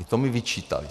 I to mi vyčítali.